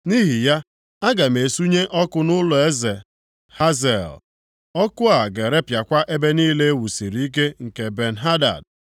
Nʼihi ya, aga m esunye ọkụ nʼụlọeze Hazael; ọkụ a ga-erepịakwa ebe niile e wusiri ike nke Ben-Hadad.